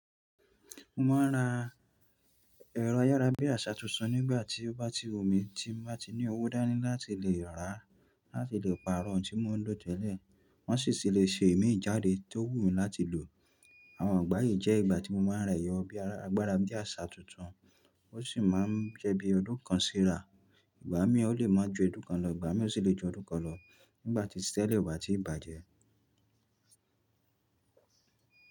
Mo máa ń ra ẹ̀rọ ayára bí àsá tuntun nígbà tí ó bá ti wù mí tí mo bá tí ní owó dáńní láti lè rà á láti lè pàrọ̀ eyi tí mò ń lo tẹ́lẹ̀ wọ́n sì ṣì lè ṣe imíi jáde tó wù mí láti lò. Àwọn ìgbà yìí jẹ́ ìgbà tí mo máa ń ra ẹ̀rọ bi agbára bí àsá tuntun, ó sì máa ń jẹ́ bí ọdún kan síra, ìgbà mí ọ̀ ó lè má ju odún kan lọ, ìgbà mí ò sì lè ju ọdún kan lọ nígbà tí tẹ́lè o bà tí ì bá jẹ́.